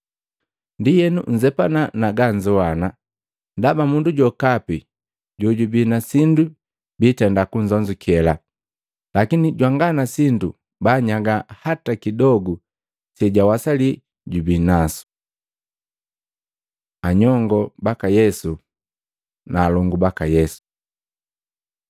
“Ndienu nzepana na ganzowana, ndaba mundu jokapi jojubi na sindu biitenda kunzonzukela, lakini jwanga na sindu bannyaga hata kidogu sejawasali jubi nasu.” Anyongo baka Yesu na alongu baka Yesu Matei 12:46-50; Maluko 3:31-35